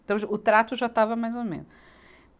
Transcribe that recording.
Então, já o trato já estava mais ou menos.